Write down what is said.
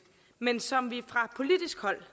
men som vi fra politisk hold